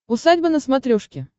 усадьба на смотрешке